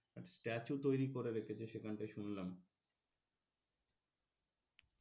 statue তৈরি করে রেখেছে সেইখান টাই শুনলাম,